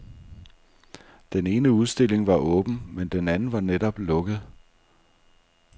Den ene udstilling var åben, men den anden var netop lukket.